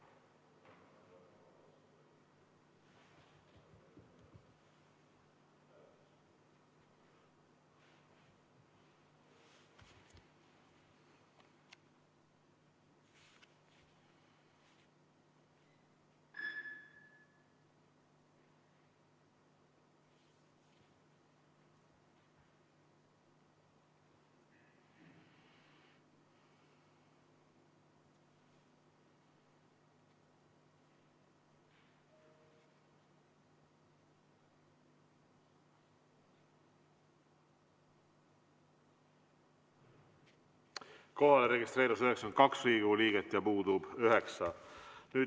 Kohalolijaks registreerus 92 Riigikogu liiget ja puudub 9.